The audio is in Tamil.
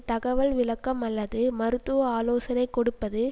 தகவல் விளக்கம் அல்லது மருத்துவ ஆலோசனை கொடுப்பது